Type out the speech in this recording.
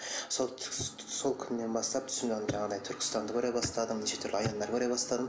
сол сол күннен бастап түсімде жаңағыдай түркістанды көре бастадым неше түрлі аяндар көре бастадым